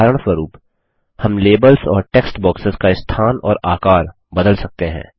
उदाहरणस्वरुप हम लेबल्स और टेक्स्ट बॉक्सेस का स्थान और आकर बदल सकते हैं